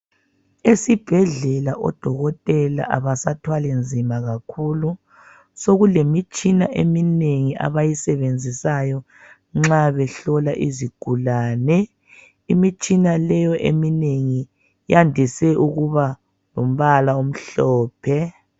Esibhedlela odokotela abasathwali nzima kakhulu sokulemitshina eminengi abayisenzisayo nxa behlola izigulane. Imitshina leyo eminengi iyandise ukuba lombala omhlophe.